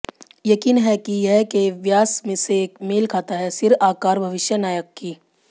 यकीन है कि यह के व्यास से मेल खाता है सिर आकार भविष्य नायक की